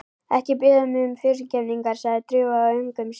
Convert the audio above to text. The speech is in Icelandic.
Ekki biðja mig fyrirgefningar sagði Drífa í öngum sínum.